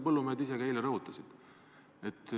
Põllumehed rõhutasid seda eile ka ise.